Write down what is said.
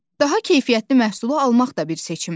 Daha keyfiyyətli məhsulu almaq da bir seçimdir.